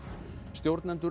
stjórnendur